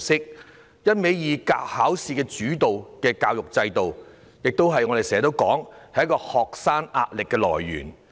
正如我們經常說，一味以考試為主導的教育制度，是學生壓力的來源。